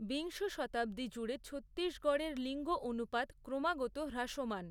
বিংশ শতাব্দী জুড়ে ছত্তিশগড়ের লিঙ্গ অনুপাত ক্রমাগত হ্রাসমান।